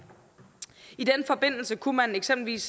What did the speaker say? i den forbindelse kunne man eksempelvis